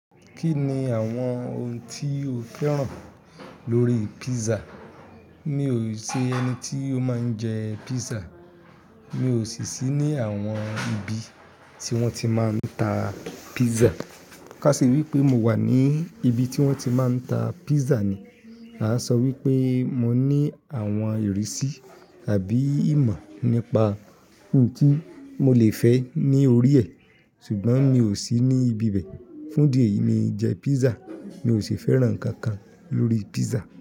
Kí ni àwọn oun tí o fẹ́ràn lórí pizza? Mi ò ṣe ẹni tí ó máa ń jẹ pizza. Mi ò sì sí ní àwọn ibi tí wọ́n ti máa ń ta pizza. Ká ṣe wí pé mo wà ní ibi tí wọ́n ti máa ń ta pizza ni, a sọ wí pé mo ní àwọn ìrísí tàbí ìmọ̀ nípa in tí mo lè fẹ́ ní orí ẹ̀, ṣùgbọ́n mi ò sí ní ibi bẹ́ẹ̀. Fún idi eyìí mi i n jẹ pizza. Mi ò ṣi fẹ́ràn nǹkan kan lórí pizza.